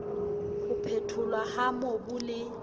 ho phetholwa ha mobu le